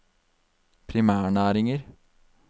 primærnæringer